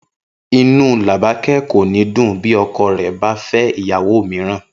Inú Làbáké̩ kò ní dùn bí o̩ko̩ rè̩ bá fé̩ ìyàwó mìíràn